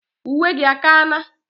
Uwe gi akana?